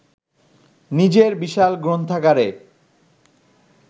নিজের বিশাল গ্রন্থাগারে